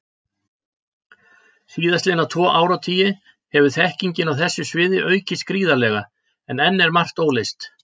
Síðastliðna tvo áratugi hefur þekkingin á þessu sviði aukist gríðarlega, en enn er margt óleyst.